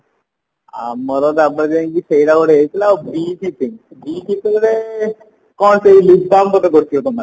ଆମର ତାପରେ ଯାଇଙ୍କି ସେଇଟା ଗୋଟେ ହେଇଥିଲା ଆଉ ଆଉ ସେ ଗୋଟେ କଣ ସେଇ lip balm ବୋଧେ କରିଥିବା ତମେ ମାନେ